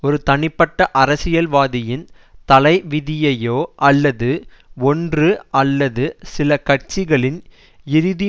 ஒரு தனிப்பட்ட அரசியல்வாதியின் தலைவிதியையோ அல்லது ஒன்று அல்லது சில கட்சிகளின் இறுதி